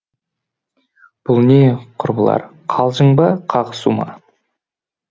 бұл не құрбылар қалжың ба қағысу ма